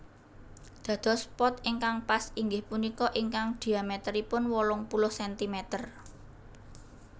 Dados pot ingkang pas inggih punika ingkang dhiamèteripun wolung puluh sentimeter